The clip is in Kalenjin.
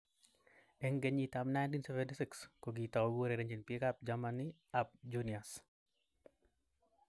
Eng kenyit ab 1976 kokitau kourerenjin bik ab Germani ab Juniors.